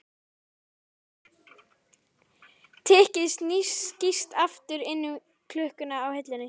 Tikkið skýst aftur inn í klukkuna á hillunni.